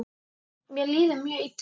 Mér líður mjög illa.